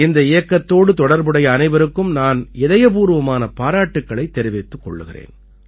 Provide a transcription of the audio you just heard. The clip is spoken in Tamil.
இந்த இயக்கத்தோடு தொடர்புடைய அனைவருக்கும் நான் இதயபூர்வமான பாராட்டுக்களைத் தெரிவித்துக் கொள்கிறேன்